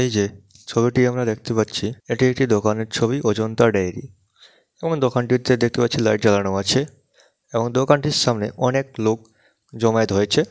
এই যেছবিটি আমরা দেখতে পাচ্ছিএটি একটি দোকানের ছবি অজন্তা ডেইরি এবং দোকানটিতে দেখতে পাচ্ছি লাইট জ্বালানো আছে এবং দোকানটির সামনে অনেক লোক জমায়েত হয়েছে।